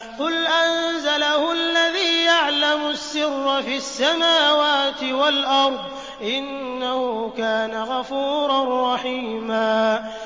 قُلْ أَنزَلَهُ الَّذِي يَعْلَمُ السِّرَّ فِي السَّمَاوَاتِ وَالْأَرْضِ ۚ إِنَّهُ كَانَ غَفُورًا رَّحِيمًا